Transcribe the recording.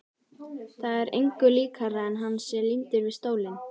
Það er engu líkara en hann sé límdur við stólinn.